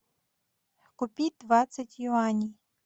купить двадцать юаней